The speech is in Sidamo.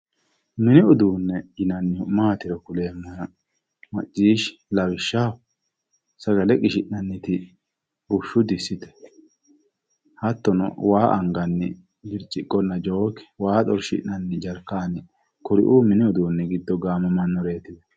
Mini uduunni maatiro kuleemmohena macciishshi, lawishshaho sagale qishsh'nanniti bushshu disite, hattono, waa anganni biriciqqonna jooke, waa xorshi'nanni jarkaanni kuriu mini uduunni giddo gamammannoreeti.